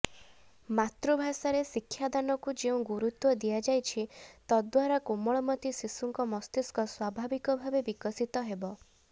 ମାତୃଭାଷାରେ ଶିକ୍ଷାଦାନକୁ ଯେଉଁ ଗୁରୁତ୍ୱ ଦିଆଯାଇଛି ତଦ୍ବାରା କୋମଳମତି ଶିଶୁଙ୍କ ମସ୍ତିଷ୍କ ସ୍ୱଭାବିକଭାବେ ବିକଶିତ ହେବ